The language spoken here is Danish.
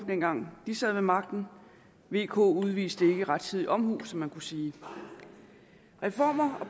dengang de sad ved magten vk udviste ikke rettidig omhu som man kunne sige det reformer og